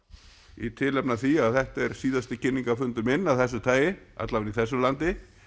í tilefni af því að þetta er síðasti minn af þessu tagi alla vega í þessu landi